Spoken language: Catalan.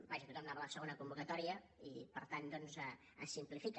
vaja tothom hi anava a la segona convocatòria i per tant doncs es simplifica